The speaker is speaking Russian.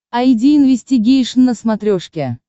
айди инвестигейшн на смотрешке